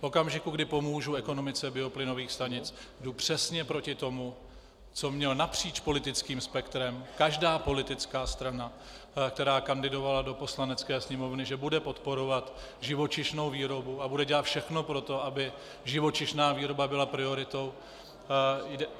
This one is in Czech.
V okamžiku, kdy pomůžu ekonomice bioplynových stanic, jdu přesně proti tomu, co měla napříč politickým spektrem každá politická strana, která kandidovala do Poslanecké sněmovny - že bude podporovat živočišnou výrobu a bude dělat všechno pro to, aby živočišná výroba byla prioritou.